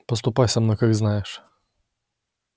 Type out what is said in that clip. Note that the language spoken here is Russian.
поступай со мной как знаешь